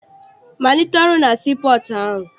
Malite ọrụ na sii pọọtụ ahụ!